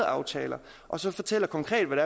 aftaler og så fortæller konkret hvad